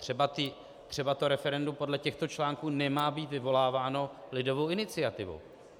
Třeba to referendum podle těchto článků nemá být vyvoláváno lidovou iniciativou.